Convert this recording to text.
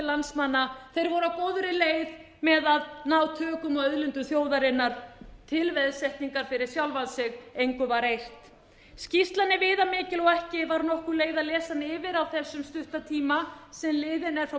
að ná tökum á auðlindum þjóðarinnar til veðsetningar fyrir sjálfa sig engu var eirt skýrslan er viðamikil og ekki var nokkur leið að lesa hana yfir á þessum stutta tíma sem liðinn er frá